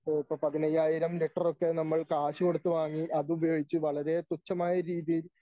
ഇപ്പോ പതിനയ്യായിരം ലിറ്ററൊക്കെ നമ്മൾ കാശുകൊടുത്ത് വാങ്ങി അത് ഉപയോഗിച്ച് വളരെ തുച്ഛമായ രീതിയിൽ